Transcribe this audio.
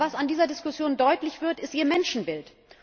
Aber was in dieser Diskussion deutlich wird, ist Ihr Menschenbild.